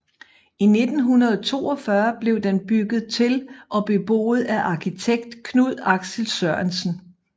I 1942 blev den bygget til og beboet af arkitekt Knud Axel Sørensen